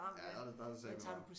Ja der der er det sateme varmt